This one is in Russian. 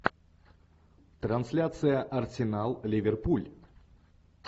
трансляция арсенал ливерпуль